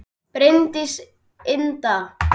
Bryndís Inda